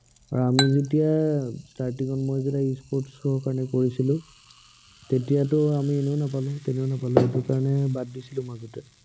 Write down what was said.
আৰু আমি যেতিয়া starting ত মই যেতিয়া e sports ৰ কাৰনে কৰিছিলো। তেতিয়াটো আমি এনেও নাপালো, তেনেও নাপালো, সেইটো কাৰনে বাদ দিছিলো মাজতে।